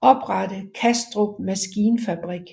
oprette Kastrup Maskinfabrik